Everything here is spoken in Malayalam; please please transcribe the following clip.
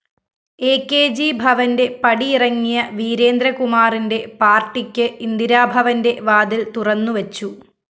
അ കെ ജി ഭവന്റെ പടിയിറങ്ങിയ വീരേന്ദ്രകുമാറിന്റെ പാര്‍ട്ടിക്ക്‌ ഇന്ദിരാഭവന്റെ വാതില്‍ തുറന്നുവച്ചു